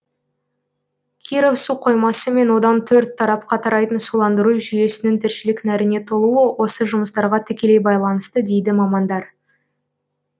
киров су қоймасы мен одан төрт тарапқа тарайтын суландыру жүйесінің тіршілік нәріне толуы осы жұмыстарға тікелей байланысты дейді мамандар